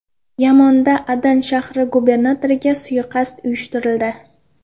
Yamanda Adan shahri gubernatoriga suiqasd uyushtirildi.